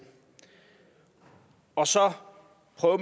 og så